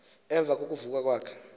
emva kokuvuka kwakhe